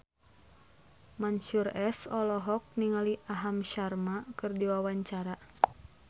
Mansyur S olohok ningali Aham Sharma keur diwawancara